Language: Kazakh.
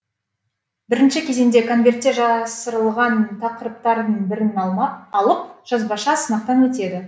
бірінші кезеңде конвертте жасырылған тақырыптардың бірін алып жазбаша сынақтан өтеді